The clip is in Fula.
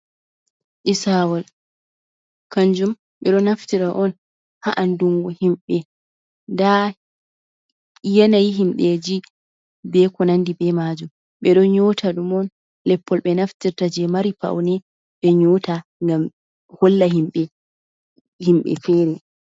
Isawol kanjum ɓe don naftira on ha'andungo himɓe nda yanayi himɓeji beko nandi be majum, ɓe ɗon nyota ɗum on leppol ɓe naftirta je mari paune ɓe nyota ngam holla himɓɓe himɓɓe fere.